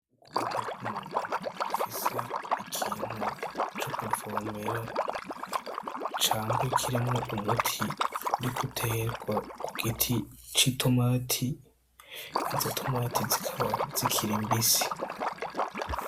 Ukuboko kwumuntu gufise ikintu co kuvomera, cangwa kirimwo umuti uriko uterwa kugiti ci tomati, izo tomati zikaba zikiri mbisi.